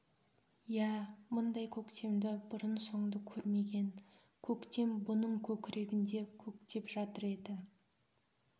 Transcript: иә мұндай көктемді бұрын-соңды көрмеген көктем бұның көкірегінде көктеп жатыр еді